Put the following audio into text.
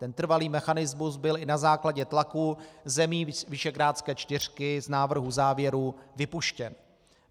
Ten trvalý mechanismus byl i na základě tlaku zemí Visegrádské čtyřky z návrhu závěrů vypuštěn.